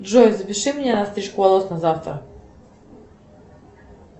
джой запиши меня на стрижку волос на завтра